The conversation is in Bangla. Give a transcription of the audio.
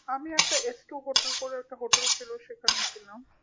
আমি একটা এস্ট্ররুকোটের করে একটা hotel ছিল সেখানে ছিলাম